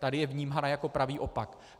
Tady je vnímána jako pravý opak.